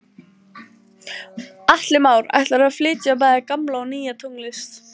Atli Már: Ætlarðu að flytja bæði gamla og nýja tónlist?